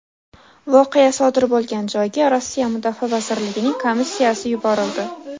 Voqea sodir bo‘lgan joyga Rossiya Mudofaa vazirligining komissiyasi yuborildi.